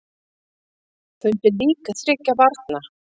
Fundu lík þriggja barna